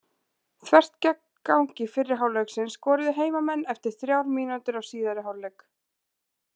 Þvert gegn gangi fyrri hálfleiksins skoruðu heimamenn eftir þrjár mínútur af síðari hálfleik.